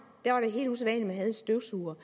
ordet